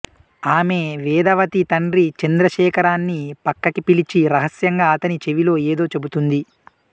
ఆమె వేదవతి తండ్రి చంద్రశేఖరాన్ని పక్కకి పిలిచి రహస్యంగా అతని చెవిలో ఏదో చెబుతుంది